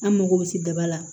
An mago bɛ se daba la